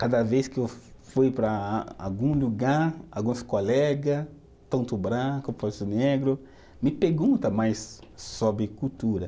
Cada vez que eu fui para algum lugar, alguns colega, tanto o branco quanto o negro, me pergunta mais sobre cultura.